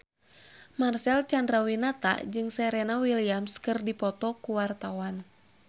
Marcel Chandrawinata jeung Serena Williams keur dipoto ku wartawan